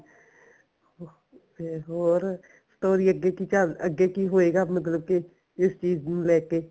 ਤੇ ਹੋਰ story ਅੱਗੇ ਕੀ ਚੱਲ ਅੱਗੇ ਕਿ ਹੋਏਗਾ ਮਤਲਬ ਕਿ ਇਸ ਚੀਜ਼ ਨੂੰ ਲੈਕੇ